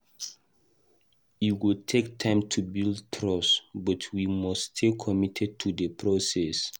E go take time to rebuild trust, but we must stay committed to the process.